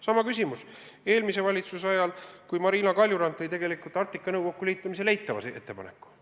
Sama küsimus oli eelmise valitsuse ajal, kui Marina Kaljurand tegi tegelikult Arktika Nõukoguga liitumise kohta eitava ettepaneku.